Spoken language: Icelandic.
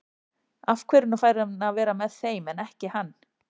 Af hverju fær hún að vera með þeim en ekki hann?